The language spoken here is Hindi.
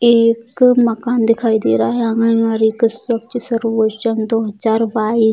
एक मकान दिखाई दे रहा है आंगनवाड़ी के स्वच्छ सर्वोचन दो हज़ार बाइस।